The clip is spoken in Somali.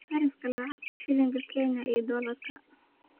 sarifka lacagta shilinka Kenya iyo dollarka